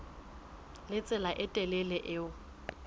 le tsela e telele eo